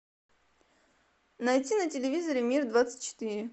найти на телевизоре мир двадцать четыре